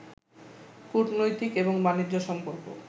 কূটনৈতিক এবং বাণিজ্য সম্পর্ক